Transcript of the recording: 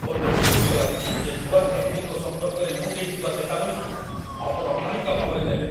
ମୋତେ ବିରକ୍ତ ଲାଗୁଛି ଯେ ନୂଆ ଗ୍ରାହକଙ୍କ ସମ୍ପର୍କରେ ମୁଁ ଦେଇଥିବା ଚେତାବନୀକୁ ଆପଣ ହାଲୁକା ଭାବରେ ନେଲେ।